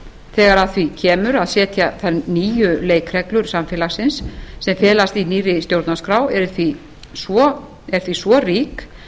þegar að því kemur að setja þær nýju leikreglur samfélagsins sem felast í nýrri stjórnarskrá er því svo rík